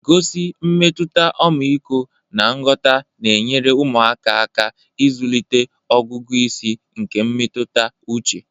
gosi mmetụta ọmịiko na nghọta na-enyere ụmụaka aka ịzụlite ọgụgụ isi nke mmetụta uche